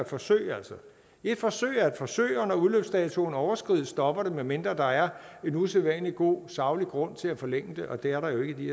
forsøg er et forsøg forsøg og når udløbsdatoen overskrides stopper det medmindre der er en usædvanlig god saglig grund til at forlænge det og det er der jo ikke i